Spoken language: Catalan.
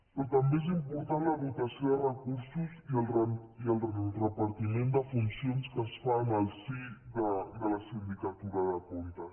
però també és important la dotació de recursos i el repartiment de funcions que es fa en el si de la sindicatura de comptes